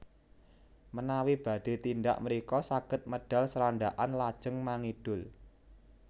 Menawi badhé tindak mrika saged medal Srandakan lajeng mangidul